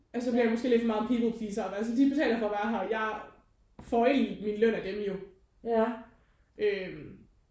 Og så bliver jeg måske lidt for meget en people pleaser og er bare sådan de betaler for at være her og jeg får egentlig mig løn af dem jo øh